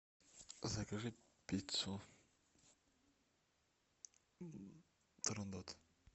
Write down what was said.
закажи пиццу турандот